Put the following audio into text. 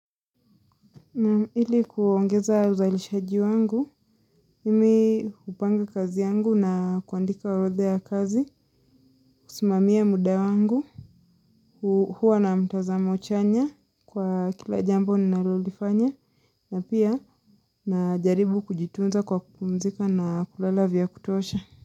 Ili kuongeza uzalishaji wangu, mimi hupanga kazi yangu na kuandika orotha ya kazi, kusimamia muda wangu, kuwa na mtazama uchanya kwa kila jambo ninalolifanya na pia najaribu kujitunza kwa kupumzika na kulala vya kutosha.